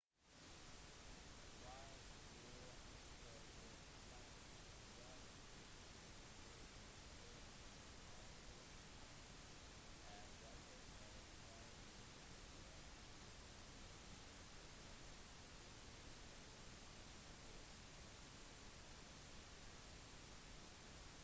hvis du ønsker å fly rundt verden fullstendig på den sørlige halvkulen er valget av flyvninger og destinasjoner begrenset på grunn av mangelen på transoceaniske ruter